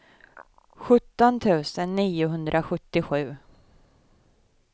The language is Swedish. sjutton tusen niohundrasjuttiosju